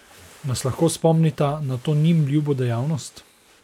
Nas lahko spomnita na to njim ljubo dejavnost?